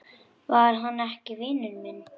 Var hann ekki vinur minn?